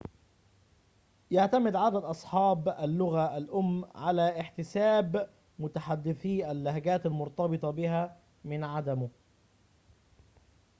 يعتمد عدد أصحاب اللغة الأم على احتساب متحدثي اللهجات المرتبطة بها من عدمه